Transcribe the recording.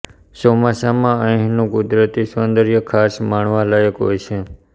ચોમાસામાં અહીંનું કુદરતી સૌંદર્ય ખાસ માણવાલાયક હોય છે